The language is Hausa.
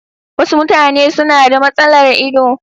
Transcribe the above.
Wasu mutane suna da matsalar ido.